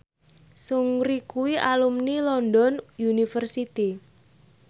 Seungri kuwi alumni London University